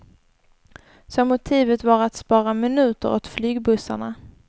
Så motivet var att spara minuter åt flygbussarna.